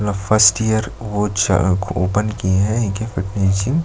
ल first year वो च ओपन किए है इनकी फिटनेस जिम --